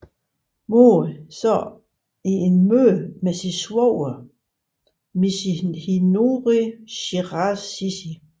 Mori sad i et møde med sin svoger Michinori Shiraishi